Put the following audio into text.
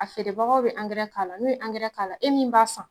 A feerebagaw bi k'a la, n'u ye k'a la, e min b'a san